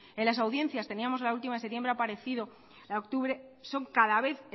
en las audiencias teníamos la última de octubre ha aparecido son cada vez